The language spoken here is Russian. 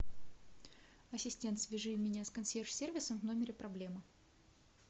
ассистент свяжи меня с консьерж сервисом в номере проблема